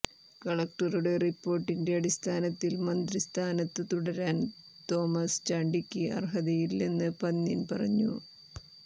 കളക്ടറുടെ റിപ്പോർട്ടിന്റെ അടിസ്ഥാനത്തിൽ മന്ത്രി സ്ഥാനത്തു തുടരാൻ തോമസ് ചാണ്ടിക്ക് അർഹതയില്ലെന്ന് പന്ന്യന് പറഞ്ഞു